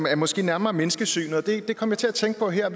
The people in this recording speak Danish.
er måske nærmere menneskesynet det kom jeg til at tænke på her